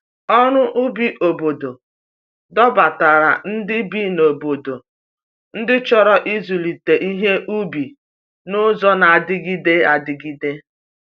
Ọrụ ubi obodo dọbatara ndị bi n’obodo ndị chọrọ ịzụlite ihe ubi n’ụzọ na-adịgide adịgide.